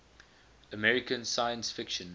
american science fiction